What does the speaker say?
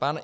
Pan